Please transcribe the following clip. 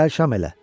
Gəl şam elə.